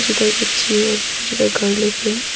बच्ची और बहुत ज्यादा गर लोग है।